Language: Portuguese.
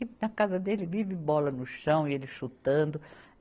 E na casa dele vive bola no chão e ele chutando.